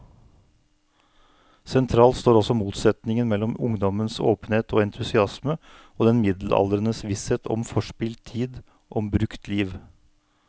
Sentralt står også motsetningen mellom ungdommens åpenhet og entusiasme og den middelaldrendes visshet om forspilt tid, om brukt liv.